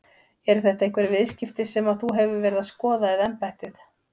Eru þetta einhver viðskipti sem að þú hefur verið að skoða eða embættið?